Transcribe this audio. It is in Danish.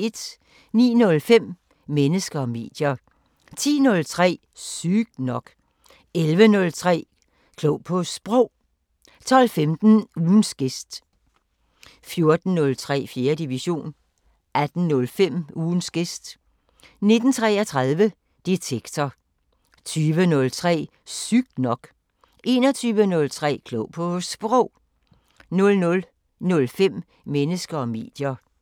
09:05: Mennesker og medier 10:03: Sygt nok 11:03: Klog på Sprog 12:15: Ugens gæst 14:03: 4. division 18:05: Ugens gæst 19:33: Detektor 20:03: Sygt nok 21:03: Klog på Sprog 00:05: Mennesker og medier